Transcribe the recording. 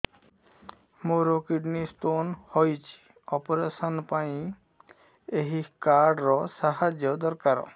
ମୋର kidney stone ହଇଛି operation ପାଇଁ ଏହି କାର୍ଡ ର ସାହାଯ୍ୟ ଦରକାର